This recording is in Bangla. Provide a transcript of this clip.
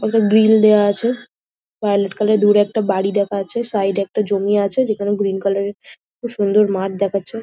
ওতে গ্রিল দেওয়া আছে ভায়লেট কালার এর। দূরে একটা বাড়ি দেখা যাচ্ছে। সাইড এ একটা জমি আছে যেখানে গ্রীন কালার খুব সুন্দর মাঠ দেখাচ্ছে।